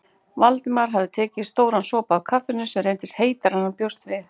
Valdimar hafði tekið stóran sopa af kaffinu sem reyndist heitara en hann bjóst við.